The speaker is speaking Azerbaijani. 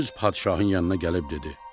Düz padşahın yanına gəlib dedi: